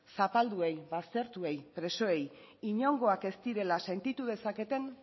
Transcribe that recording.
zapalduei baztertuei presoei inongoak ez direla sentitu dezaketen